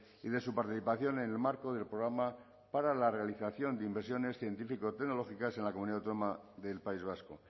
y de su participación en el marco del programa para la realización de inversiones científico tecnológicas en la comunidad autónoma del país vasco